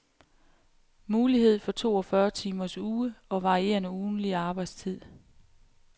Mulighed for toogfyrre timers uge og varierende ugentlig arbejdstid.